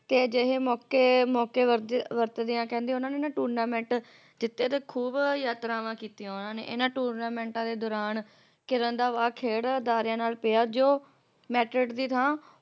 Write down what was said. ਕੇ ਅਜਿਹੇ ਮੌਕੇ ਮੌਕੇ ਵਰਤ ਵਰਤਦਿਆਂ ਕਹਿੰਦੇ ਉਹਨਾਂ ਨੇ ਨਾ ਟੂਰਨਾਮੈਂਟ ਜਿੱਤੇ ਤੇ ਖੂਬ ਯਾਤਰਾਵਾਂ ਕੀਤੀਆਂ ਓਹਨਾ ਨੇ ਇਹਨਾਂ ਟੂਰਨਾਮੈਂਟ ਦੇ ਦੌਰਾਨ ਕਿਰਨ ਦਾ ਵਾਅ ਖੇਡ ਅਦਾਰਿਆਂ ਨਾਲ ਪਿਆ ਜੋ ਮੈਟਿਡ ਦੀ ਥਾਂ